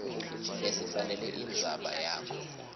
lesifanele indzaba yakho